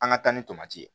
An ka taa ni tomati ye